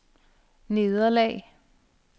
nederlag